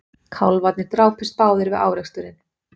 Kálfarnir drápust báðir við áreksturinn